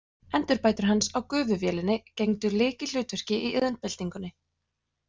Endurbætur hans á gufuvélinni gegndu lykilhlutverki í iðnbyltingunni.